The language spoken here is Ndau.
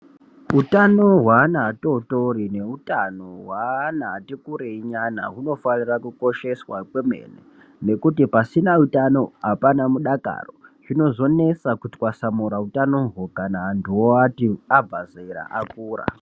Hutano hwe ana atotori ne utano hwe ana ati kurei nyana huno fanira kukosheswa kwemene nekuti pasina utano apana mudakaro zvinozo nesa kutwasamura utanohwo kana antuwo abva zera akura.